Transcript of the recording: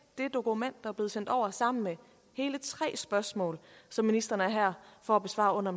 et dokument er blevet sendt over sammen med hele tre spørgsmål som ministeren er her for at besvare under